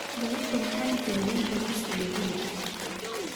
Galabta waxan kariiye bariis iyo hilib.